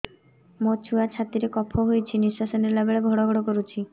ମୋ ଛୁଆ ଛାତି ରେ କଫ ହୋଇଛି ନିଶ୍ୱାସ ନେଲା ବେଳେ ଘଡ ଘଡ କରୁଛି